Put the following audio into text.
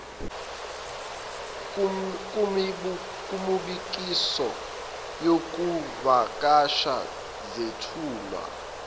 kumibukiso yokuvakasha zethula